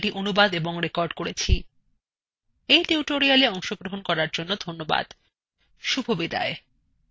এই টিউটোরিয়ালএ অংশগ্রহন করার জন্য ধন্যবাদ শুভবিদায়